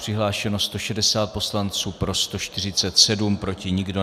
Přihlášeno 160 poslanců, pro 147, proti nikdo.